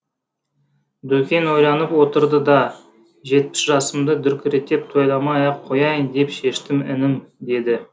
дүкең ойланып отырды да жетпіс жасымды дүркіретіп тойламай ақ қояйын деп шештім інім деді